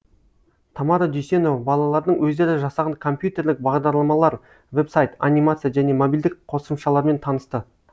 тамара дүйсенова балалардың өздері жасаған компьютерлік бағдарламалар веб сайт анимация және мобильдік қосымшалармен танысты